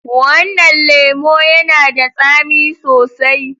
Wannan lemo yana da tsami sosai.